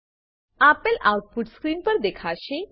આપેલ output screen પર દેખાશે